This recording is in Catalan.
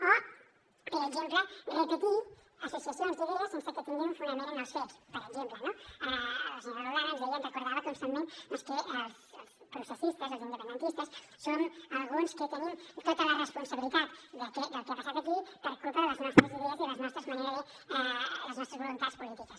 o per exemple repetir associacions d’idees sense que tinguin un fonament en els fets per exemple no la senyora roldán ens deia ens recordava constantment doncs que els processistes els independentistes som alguns que tenim tota la responsabilitat del que ha passat aquí per culpa de les nostres idees i de les nostres voluntats polítiques